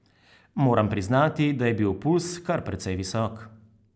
Moram priznati, da je bil pulz kar precej visok.